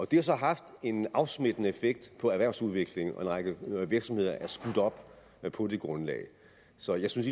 det har så haft en afsmittende effekt på erhvervsudviklingen og en række virksomheder er skudt op på det grundlag så jeg synes